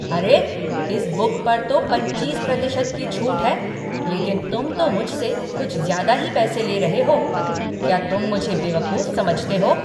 अरे! इस बुक पर तो पच्चीस प्रतिशत की छूट है, लेकिन तुम तो मुझसे कुछ ज़्यादा ही पैसे ले रहे हो। क्या तुम मुझे बेवकूफ समझते हो?